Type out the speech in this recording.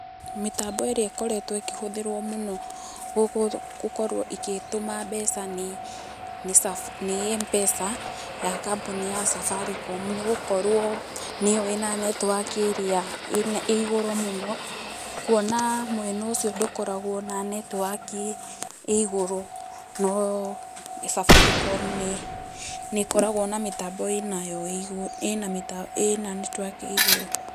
Mĩtambo ĩrĩa ĩkoretwo ĩkĩhũthĩrwo mũno gũkorwo ĩgĩtũma mbeca nĩ M-Pesa ya kambuni ya Safaricom. Nĩ gũkorwo nĩyo ĩna netowaki ĩrĩa ĩigũrũ mũno, kuona mwena ũcio ndũkoragwo na netiwaki ĩigũrũ no Safaricom nĩ ĩkoragwo na mĩtambo ĩnayo, ĩna netiwaki ĩigũrũ.